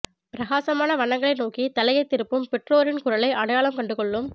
பிரகாசமான வண்ணங்களை நோக்கி தலையைத் திருப்பும் பெற்றோரின் குரலை அடையாளம் கண்டு கொள்ளும்